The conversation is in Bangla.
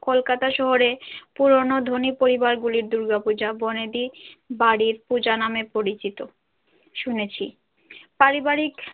কলকাতা শহরে পুরনো ধনী পরিবার গুলির দূর্গাপূজা বনেদী বাড়ির পূজা নামে পরিচিত শুনেছি পারিবারিক।